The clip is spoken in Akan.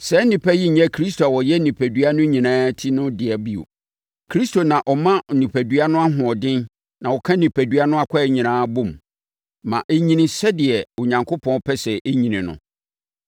Saa nnipa yi nyɛ Kristo a ɔyɛ onipadua no nyinaa Ti no dea bio. Kristo na ɔma onipadua no ahoɔden na ɔka onipadua no akwaa nyinaa bɔ mu, ma ɛnyini sɛdeɛ Onyankopɔn pɛ sɛ ɛnyini no.